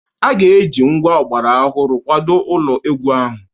A ga-eji ngwa ọgbara ọhụrụ kwado ụlọ egwu ahụ.